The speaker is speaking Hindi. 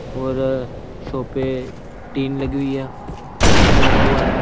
और शॉप पे टीन लगी हुई है शटर लगा हुआ है।